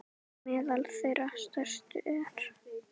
Meðal þeirra stærstu eru